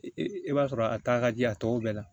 I b'a sɔrɔ a ta ka di a tɔw bɛɛ la